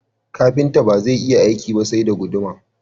Kafinta bazai iya aiki ba sai da guduma